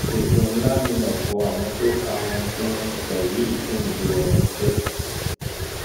èpè ńlá ni ọpọ àwọn tó ka ohun tí wọn sọ yìí ń gbé wọn ṣe